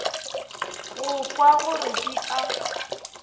go kwa gore di a